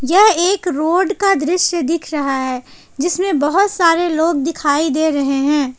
यह एक रोड का दृश्य दिख रहा है जिसमें बहुत सारे लोग दिखाई दे रहे हैं।